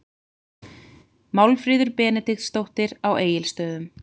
Málfríður Benediktsdóttir á Egilsstöðum